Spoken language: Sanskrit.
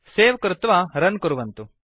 सवे कृत्वा रुन् कुर्वन्तु